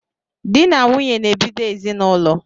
Dị na nwunye na-ebido ezinaụlọ